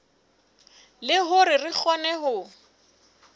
le hore re kgone ho